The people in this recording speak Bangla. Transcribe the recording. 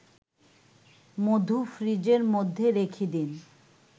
মধু ফ্রিজের মধ্যে রেখে দিন